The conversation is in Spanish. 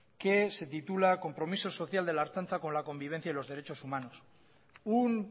que se titula compromiso social de la ertzaintza con la convivencia y los derechos humanos un